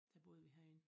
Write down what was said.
Der boede vi herinde